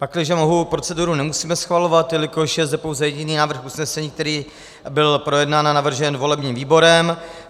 Pakliže mohu, proceduru nemusíme schvalovat, jelikož je zde pouze jediný návrh usnesení, který byl projednán a navržen volebním výborem.